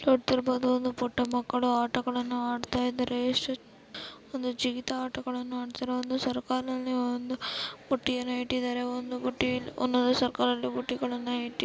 ನೋಡುತ್ತಿರಬಹುದು ಒಂದು ಪುಟ್ಟ ಮಕ್ಕಳು ಆಟಗಳನ್ನು ಆಡ್ತಾ ಇದ್ದಾರೆ ಎಷ್ಟು ಒಂದು ಜಿಗಿತ ಆಟಗಳನ್ನು ಆಡ್ತಿರೋದು ಒಂದು ಸರ್ಕಲ್ ನಲ್ಲಿ ಒಂದು ಪುಟ್ಟಿಯನ್ನು ಇಟ್ಟಿದ್ದಾರೆ ಒಂದು ಪುಟ್ಟಿ ಒಂದೊಂದು ಸರ್ಕಲ್ ಅಲ್ಲಿ ಬುಟ್ಟಿಗಳನ್ನ ಇಟ್ಟಿಲ್ಲ.